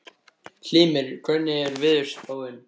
Hymir, hvernig er veðurspáin?